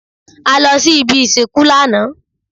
A lọ sí ibi ìsìnkú lánàá.